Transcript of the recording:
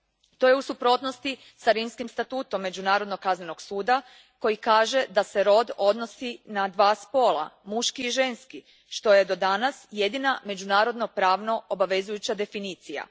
To je u suprotnosti s Rimskim statutom Međunarodnog kaznenog suda koji kaže da se rod odnosi na dva spola muški i ženski što je do danas jedina međunarodna pravno obvezujuća definicija.